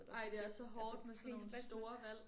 Ej det er så hårdt med sådan nogle store valg